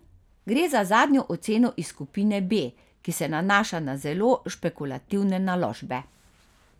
Gre za zadnjo oceno iz skupine B, ki se nanaša na zelo špekulativne naložbe.